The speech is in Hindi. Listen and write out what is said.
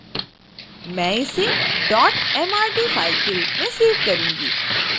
मैंने इसे mrd file के रूप में सेव करूंगी